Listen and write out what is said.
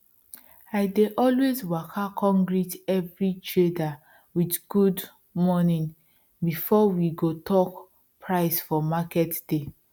i dey always waka come greet every trader with good morning before we go talk price for market day